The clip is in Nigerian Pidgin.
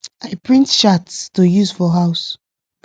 i print charts to use for house